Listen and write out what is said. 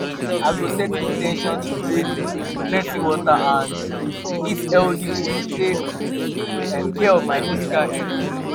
i go set in ten tion to drink um plenty water and um eat healthy food to take um care of my physical health.